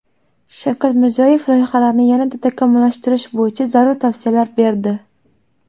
Shavkat Mirziyoyev loyihalarni yanada takomillashtirish bo‘yicha zarur tavsiyalar berdi.